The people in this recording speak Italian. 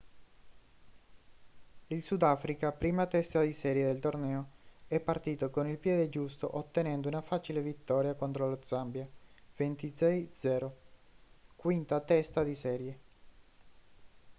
il sudafrica prima testa di serie del torneo è partito con il piede giusto ottenendo una facile vittoria contro lo zambia 26 - 00 quinta testa di serie